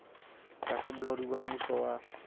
tlasa bolaodi ba mmuso wa